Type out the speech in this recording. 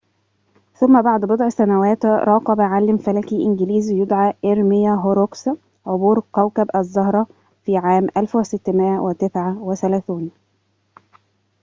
ثم بعد بضع سنوات راقب عالم فلكي إنجليزي يدعى إرميا هوروكس عبور كوكب الزهرة في عام 1639